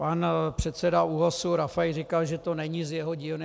Pan předseda ÚOHS Rafaj říkal, že to není z jeho dílny.